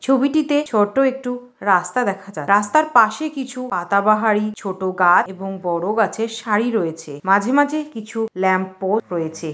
ছবিটিতে ছোট্ট একটু রাস্তা দেখা যায় রাস্তার পাশে কিছু পাতা বাহারি ছোট গা এবং বড়ো গাছের শাড়ি রয়েছে মাঝে মাঝে কিছু ল্যাম্পপো রয়েছে।